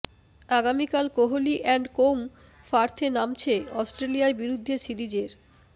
আগামিকাল Kohli and co পার্থে নামছে অস্ট্রেলিয়ার বিরুদ্ধে সিরিজের